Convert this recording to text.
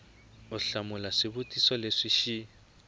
u hlamula swivutiso leswi xi